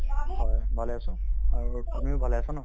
হয়, ভালে আছো আৰু তুমিও ভালে আছে ন ?